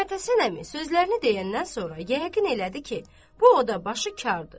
Məmmədhəsən əmi sözlərini deyəndən sonra yəqin elədi ki, bu o da başı kardır.